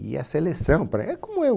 E a seleção, pré, é como é